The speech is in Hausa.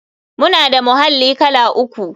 Muna da muhalli kala uku.